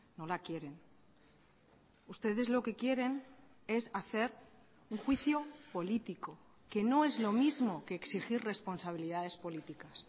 no la quieren ustedes lo que quieren es hacer un juicio político que no es lo mismo que exigir responsabilidades políticas